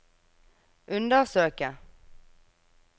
undersøke